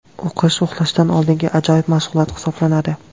O‘qish uxlashdan oldingi ajoyib mashg‘ulot hisoblanadi.